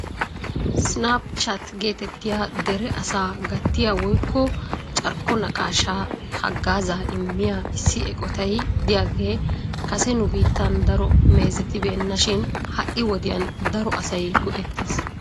'SnapChat' getettiya dere asaa gattiya woykko carkko naqaashsha haggaazza immiya issi eqqotay de'iyaage kase nu biittan daro meezettibeena shin ha'i wodiyaan daro asay go''eetees.